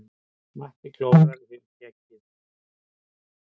Matti klórar í skeggið.